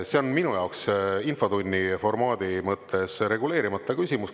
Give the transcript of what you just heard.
See on minu jaoks infotunni formaadi mõttes reguleerimata küsimus.